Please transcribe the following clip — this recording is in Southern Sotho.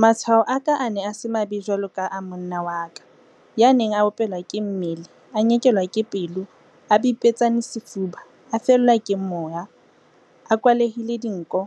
Matshwao a ka a ne a se mabe jwaloka a monna wa ka, ya neng a opelwa ke mmele, a nyekelwa ke pelo, a bipetsane sefuba, a fellwa ke moya, a kwalehile dinko,